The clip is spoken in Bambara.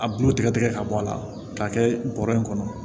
A bulu tigɛ tigɛ ka bɔ a la k'a kɛ bɔrɛ in kɔnɔ